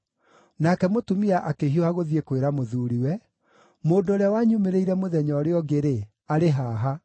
Nake mũtumia akĩhiũha gũthiĩ kwĩra mũthuuriwe, “Mũndũ ũrĩa wanyumĩrĩire mũthenya ũrĩa ũngĩ-rĩ, arĩ haha!”